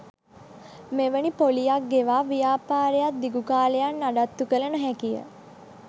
මෙවැනි පොලියක් ගෙවා ව්‍යාපාරයක් දිගු කාලයක් නඩත්තු කල නොහැකිය.